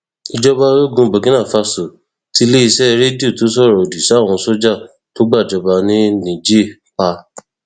ìjọba ológun burkina faso tiléeṣẹ rédíò tó sọrọ òdì sáwọn sójà tó gbàjọba ní niger pa